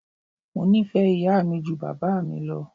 Mo nífẹ̀ẹ́ ìyá mi ju bàbá mi lọ.